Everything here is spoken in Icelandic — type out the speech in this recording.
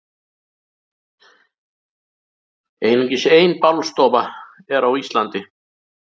Einungis ein bálstofa er á Íslandi.